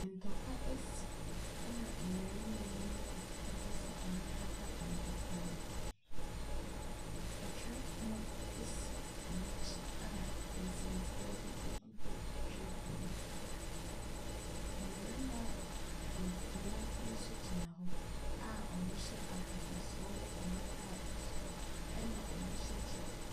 Ntɔkwa asi, ɛna mmarima ne mu bi ɛpɛ sɛ wɔpata ntɔkwa no. Twerɛpono ɛsi wɔn akyi a nsɛmfua bi ɛgugu twerɛpono no so. Mmarima nsia bi nso ɛgyina hɔ a wɔhyɛ akatasoɔ ɛwɔ wɔn ataadeɛ so, ɛna wɔhyɛ kyɛ.